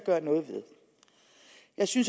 sige